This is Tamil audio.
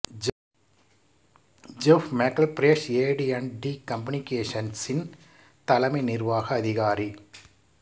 Jeff McElfresh A T and T கம்யூனிகேஷன்ஸின் தலைமை நிர்வாக அதிகாரி